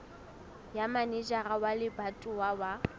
ya manejara wa lebatowa wa